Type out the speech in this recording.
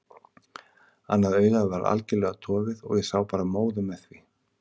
Annað augað var algjörlega dofið og ég sá bara móðu með því.